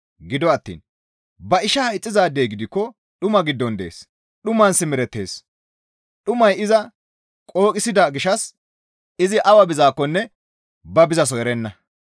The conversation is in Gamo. Gido attiin ba ishaa ixxizaadey gidikko dhuma giddon dees; dhuman simerettees; dhumay iza qooqisida gishshas izi awa bizaakkonne ba bizaso erenna.